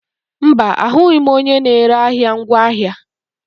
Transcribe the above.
Mba, ahụghị m onye na-ere ahịa ngwaahịa.